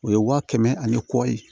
O ye wa kɛmɛ ani kɔ ye